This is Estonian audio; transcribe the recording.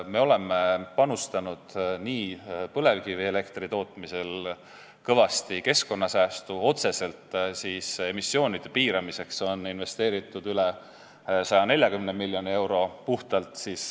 Me oleme panustanud põlevkivielektri tootmisel kõvasti keskkonnasäästu, otseselt emissioonide piiramiseks on investeeritud üle 140 miljoni euro .